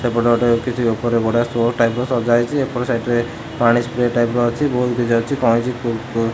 ସେପଟେ ଗୋଟେ ସଜ୍ଜା ହେଇଛି। ଏପଟ ସାଇଟ୍